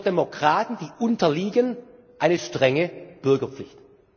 Das ist für Demokraten, die unterliegen, eine strenge Bürgerpflicht.